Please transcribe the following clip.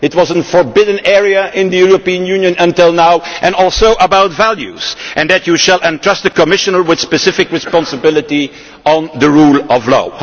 it was a forbidden area in the European Union until now and also about values, and that you will entrust a Commissioner with specific responsibility for the rule of law.